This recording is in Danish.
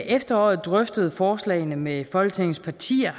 efteråret drøftede forslagene med folketingets partier